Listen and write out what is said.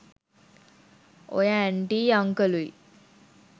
ඔය ඇන්ටියි අන්කලුයි